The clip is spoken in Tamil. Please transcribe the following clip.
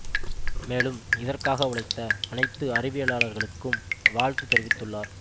மேலும் இதற்காக உழைத்த அனைத்து அறிவியலாளர்களுக்கும் வாழ்த்து தெரிவித்துள்ளார்